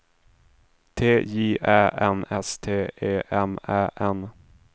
T J Ä N S T E M Ä N